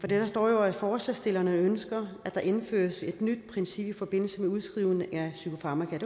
der står jo at forslagsstillerne ønsker at der indføres et nyt princip i forbindelse med udskrivning af psykofarmaka